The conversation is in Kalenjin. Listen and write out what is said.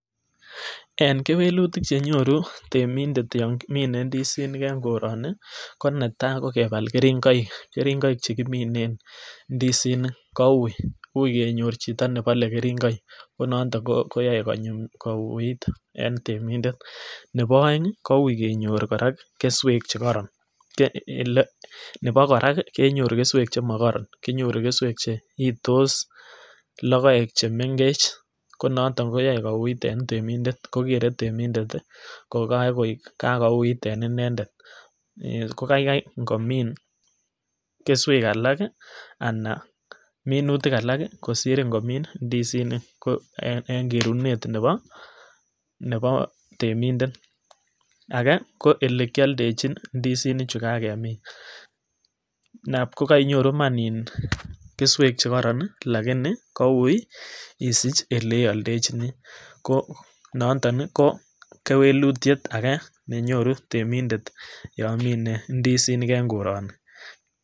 En kewelutik chenyoru temindet yon kimine indisinik en koroni ko netai ko kebal keringoik, keringoik chekiminen indisinik ko ui, ui kenyor chito nebole keringoik ko nonton konyum kouit en temindet, nebo oengi koui kenyor korak kii kesuek chemokoron kinyoru kesuek che itos lokoek chemengech ko noton koyoe koui en temindet ko kere temnet ko kakoik kakouit en inendet ko kaikai inomin kesuek alak kii anan minutik alak kii kosir ingomin indisinik ko en kerunet nebo nebo teminendet. Age ko ole kioldechin indisinik chu kakemin nab kokoinyoru iman iih kesuek chekoron nii lakini koui isich ole ioldechinii ko nondon nii ko kwelutyet age nenyoru temindet yon mine indisink en koroni.